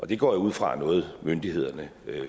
det går jeg ud fra er noget myndighederne